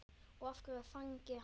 Og hvernig fagnaði hann?